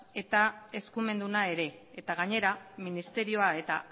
eta eskumendua ere eta gainera ministerio eta